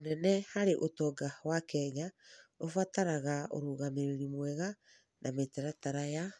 mũnene harĩ ũtonga wa Kenya, ũbataraga ũrũgamĩrĩri mwega na mĩtaratara ya